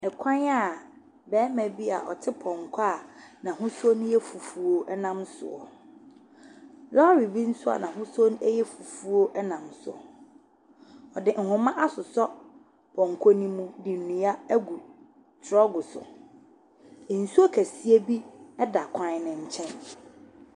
Ɛkwan a barima bi a ɔte pɔnkɔ a n'ahosuo ne yɛ fufuo ɛnam soɔ. Lɔre bi nso a n'ahosuo ɛyɛ fufuo ɛnam so. Ɔde nhoma asosɔ pɔnkɔ ne mu. Nnua egu trɔk so. Nsuo kɛseɛ bi ɛda kwan ne nkyɛn.